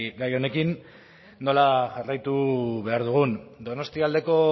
gai honekin nola jarraitu behar dugun donostialdeko